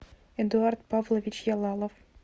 эдуард павлович ялалов